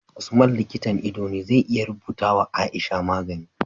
Usman likitan ido ne zai iya rubuta wa aisha magani